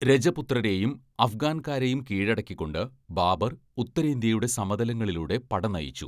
"രജപുത്രരെയും അഫ്ഗാൻകാരെയും കീഴടക്കിക്കൊണ്ട് ബാബർ ഉത്തരേന്ത്യയുടെ സമതലങ്ങളിലൂടെ പട നയിച്ചു. "